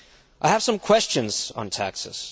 I have some questions on taxes.